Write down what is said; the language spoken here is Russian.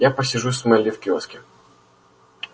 я посижу с мелли в киоске